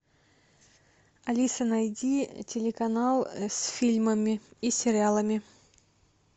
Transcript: алиса найди телеканал с фильмами и сериалами